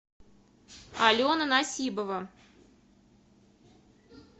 алена насибова